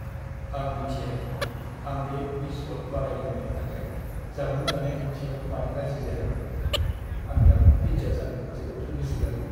आं मिथिया दि आं बे मिस वर्ल्ड बादायलायनायनि थाखाय जामुं जानाय खान्थियाव मानो राजि जायामोन। आं दा पिज्जा जानो जोबोद लुबैसोगारो।